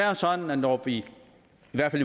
er sådan når vi i